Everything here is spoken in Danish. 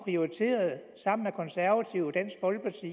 sammen konservative og dansk folkeparti